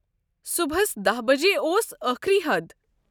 صُبحس دہَ بجےاوس ٲخری حد۔